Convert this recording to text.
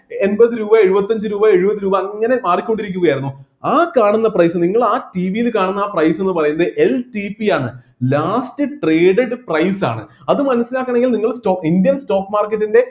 എമ്പത് രൂപ എഴുപത്തഞ്ച് രൂപ എഴുപത് രൂപ അങ്ങനെ മാറിക്കൊണ്ടിരിക്കുകയായിരുന്നു ആ കാണുന്ന price നിങ്ങൾ ആ TV യില് കാണുന്ന ആ price എന്ന് പറയുന്നത് LTP യാണ് last traded price ആണ് അത് മനസ്സിലാക്കണെങ്കിൽ നിങ്ങൾ സ്റ്റോ indian stock market ൻ്റെ